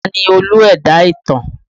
Ta ni Olú ẹ̀dá ìtàn?